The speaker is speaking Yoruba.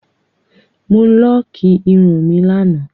Mo lọọkí irun mi lánàá